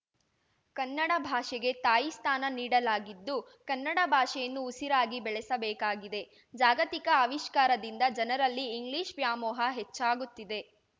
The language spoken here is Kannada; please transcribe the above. ಕನ್ನಡ ಭಾಷೆಗೆ ತಾಯಿ ಸ್ಥಾನ ನೀಡಲಾಗಿದ್ದು ಕನ್ನಡ ಭಾಷೆಯನ್ನು ಉಸಿರಾಗಿ ಬೆಳಸಬೇಕಾಗಿದೆ ಜಾಗತಿಕ ಆವಿಷ್ಕಾರದಿಂದ ಜನರಲ್ಲಿ ಇಂಗ್ಲಿಷ್‌ ವ್ಯಾಮೋಹ ಹೆಚ್ಚಾಗುತ್ತಿದೆ